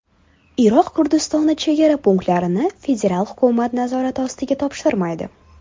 Iroq Kurdistoni chegara punktlarini federal hukumat nazorati ostiga topshirmaydi.